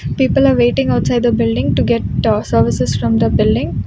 People are waiting outside the building to get services from the building.